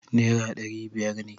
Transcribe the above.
Nera dari biyar ne